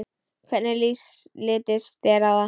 Hvernig litist þér á það?